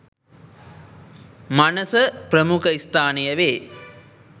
මනස ප්‍රමුඛස්ථානය වේ.